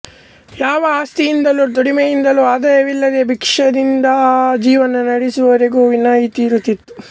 ಯಾವ ಆಸ್ತಿಯಿಂದಲೂ ದುಡಿಮೆಯಿಂದಲೂ ಆದಾಯವಿಲ್ಲದೆ ಭಿಕ್ಷದಿಂದ ಜೀವನ ನಡೆಸುವವರಿಗೂ ವಿನಾಯಿತಿ ಇರುತ್ತಿತ್ತು